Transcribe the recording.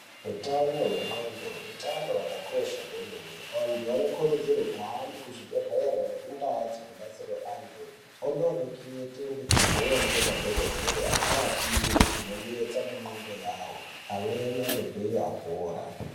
Utano hwendxondo utano hwakakosha kwemene. Antu anokurudzirwe kuhambe kuzvibhedhlere nekundaa dzinobatsire antu, ondorekete ngekubhuya ngemadhokodhere echiapire zvinonetsa mundxondo yawo. Amweni anobveyo apora.